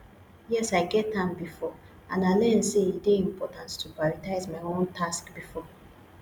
yes i get am before and i learn say e dey important to prioritize my own tasks first